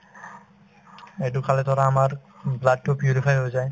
এইটো খালে ধৰা আমাৰ উম blood তো purify হৈ যায়